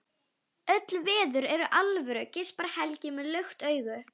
Öll veður eru alvöru, geispar Helgi með lukt augu.